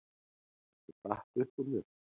Þetta datt upp úr mér